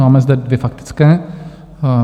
Máme zde dvě faktické;